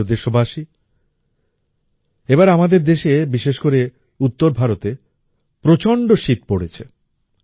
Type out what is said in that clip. আমার প্রিয় দেশবাসী এবার আমাদের দেশে বিশেষ করে উত্তর ভারতে প্রচণ্ড শীত পড়েছে